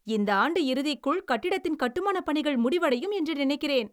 இந்த ஆண்டு இறுதிக்குள் கட்டிடத்தின் கட்டுமானப் பணிகள் முடிவடையும் என்று நினைக்கிறேன்.